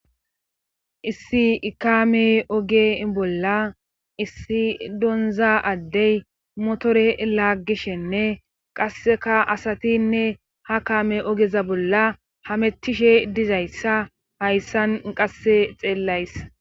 Issi ikame oge bolla issi donza addey motore laggishenne qasseka asatinne ha kame ogeza bolla hamettishe dizayssa hayssan qasse xeellays.